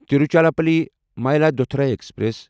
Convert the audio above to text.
Tiruchirappalli Mayiladuthurai express